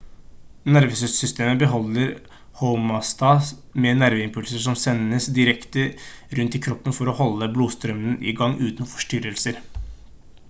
nervesystemet beholder homeostase med nerveimpulser som sendes rundt i kroppen for å holde blodstrømmen i gang uten forstyrrelser